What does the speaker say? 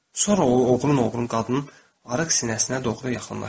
Sonra o, oğrun-oğrun qadının arıq sinəsinə doğru yaxınlaşır.